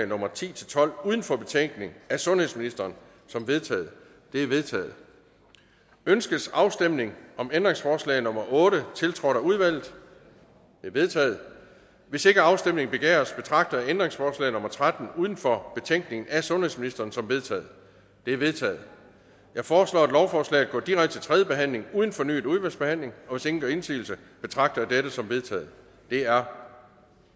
nummer ti til tolv uden for betænkning af sundhedsministeren som vedtaget de er vedtaget ønskes afstemning om ændringsforslag nummer otte tiltrådt af udvalget det er vedtaget hvis ikke afstemning begæres betragter jeg ændringsforslag nummer tretten uden for betænkning af sundhedsministeren som vedtaget det er vedtaget jeg foreslår at lovforslaget går direkte til tredje behandling uden fornyet udvalgsbehandling hvis ingen gør indsigelse betragter jeg dette som vedtaget det er